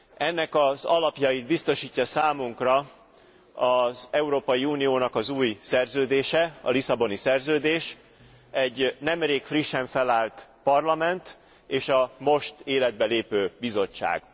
Ennek az alapjait biztosítja számunkra az Európai Uniónak az új szerződése, a Lisszaboni Szerződés, egy nemrég frissen felállt Parlament és a most életbe lépő Bizottság.